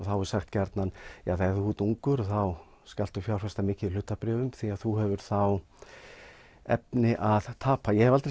þá er sagt þú ert ungur og þá skaltu fjárfesta mikið í hlutabréfum því þú hefur þá efni að tapa ég hef aldrei